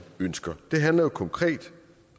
ønsker det handler konkret